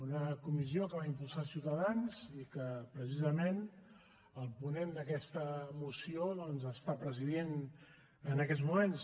una comissió que va impulsar ciutadans i que precisament el ponent d’aquesta moció doncs l’està presidint en aquests moments